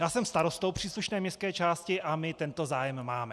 Já jsem starostou příslušné městské části a my tento zájem máme.